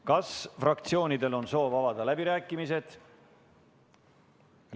Kas fraktsioonidel on soov avada läbirääkimised?